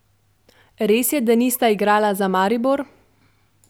Letno sicer slovenska policija obravnava tri do štiri primere trgovine z ljudmi.